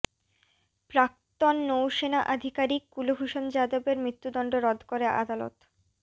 প্রাক্তন নৌসেনা আধিকারিক কুলভূষণ যাদবের মৃত্যুদণ্ড রদ করে আদালত